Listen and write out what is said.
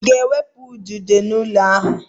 Ị ga-ewepụ udide n'ụlọ a!